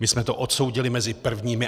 My jsme to odsoudili mezi prvními.